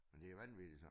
Men det vanvittigt så